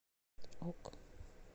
ок